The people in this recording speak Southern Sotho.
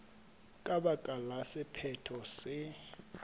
ka baka la sephetho se